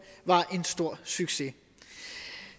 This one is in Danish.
var en stor succes